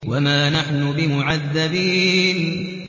وَمَا نَحْنُ بِمُعَذَّبِينَ